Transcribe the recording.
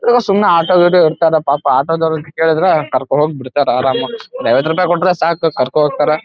ಇವರು ಸುಮ್ನೆ ಆಟೋ ಗಿಟೊ ಇರ್ತರ ಪಾಪ ಆಟೋ ದವರು ಕೇಳಿದ್ರ ಕರ್ಕೊಂಡ ಹೋಗಿ ಬಿಡ್ತಾರ ಆರಾಮಾಗಿ ಒಂದ ಐವತ್ತ ರೂಪಾಯಿ ಕೊಟ್ರ ಸಾಕ ಕರ್ಕೊಂಡ ಹೋಗ್ತಾರ .